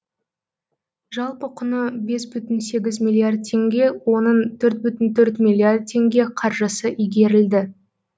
жалпы құны бес бүтін сегіз миллиард теңге оның төрт бүтін төрт миллиард теңге қаржысы игерілді